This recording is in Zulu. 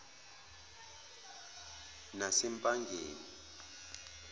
nasempangeni